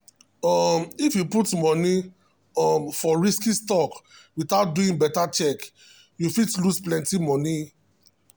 um if you put money um for risky stock without doing better check you fit lose plenty money.